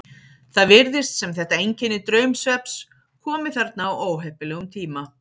Það virðist sem þetta einkenni draumsvefns komi þarna á óheppilegum tíma.